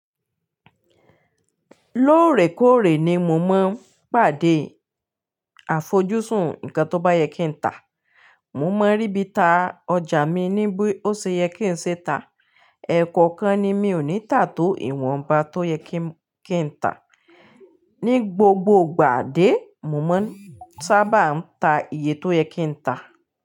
Lóòrèkóòrè ni mo máa ń pàdé àfojúsùn nǹkan tó bá yẹ kí n ta. Mo máa ń rí bí ta ọjà mi ní bí ó ṣe yẹ kí n ṣe ta. Ẹ̀kookan ni mi ò ní tà tó ìwọ̀nba tó yẹ kí m, kí n ta. Ní gbogbo gbà dé, mo máa ń sábà ta iye tó yẹ kí n ta.